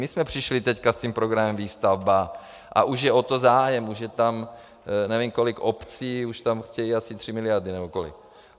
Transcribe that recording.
My jsme přišli teď s tím programem Výstavba a už je o to zájem, už je tam nevím kolik obcí, už tam chtějí asi 3 miliardy, nebo kolik.